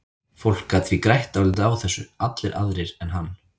Fólk gat því grætt dálítið á þessu, allir aðrir en hann.